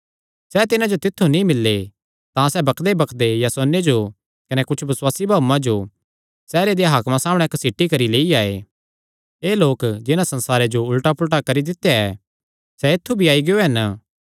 सैह़ तिन्हां जो तित्थु नीं मिल्ले तां सैह़ बकदेबकदे यासोने जो कने कुच्छ बसुआसी भाऊआं जो सैहरे देयां हाकमा सामणै घसीटी करी लेई आये एह़ लोक जिन्हां संसारे जो उल्टा पुलटा करी दित्या ऐ सैह़ ऐत्थु भी आई गियो हन